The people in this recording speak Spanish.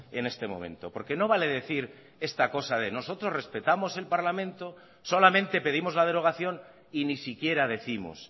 en este momento porque no vale decir esta cosa de nosotros respetamos el parlamento solamente pedimos la derogación y ni siquiera décimos